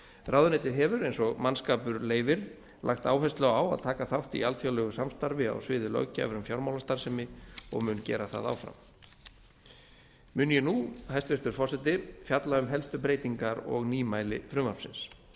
ráðuneytið hefur eins og mannskapur leyfir lagt áherslu á að taka þátt í alþjóðlegu samstarfi á sviði löggjafar um fjármálastarfsemi og mun gera það áfram mun ég nú hæstvirtur forseti fjalla um helstu breytingar og nýmæli frumvarpsins